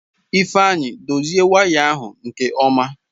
Ifeanyị dozie waya ahụ nke ọma!